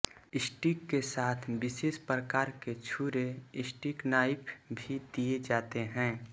स्टीक के साथ विशेष प्रकार के छुरे स्टीक नाइफ भी दिए जाते हैं